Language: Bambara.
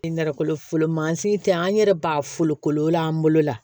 Nɛrɛ folo masi te an yɛrɛ b'a folo kolo an bolo la